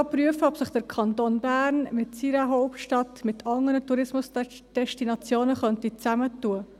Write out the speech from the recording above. Er will auch prüfen, ob sich der Kanton Bern mit seiner Hauptstadt mit anderen Tourismusdestinationen zusammentun könnte;